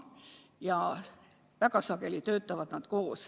Ja väga sageli töötavad nad koos.